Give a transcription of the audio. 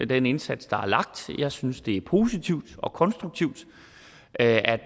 den indsats der er lagt jeg synes det er positivt og konstruktivt at